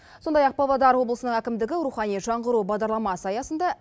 сондай ақ павлодар облысының әкімдігі рухани жаңғыру бағдарламасы аясында